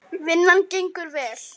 Vinnan gengur vel.